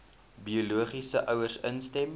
biologiese ouers instem